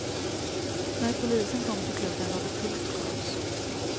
När polisen kom till klubben rådde fullt kaos.